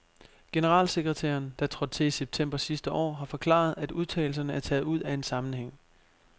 Generalsekretæren, der trådte til i september sidste år, har forklaret, at udtalelserne er taget ud af en sammenhæng.